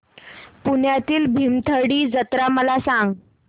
पुण्यातील भीमथडी जत्रा मला सांग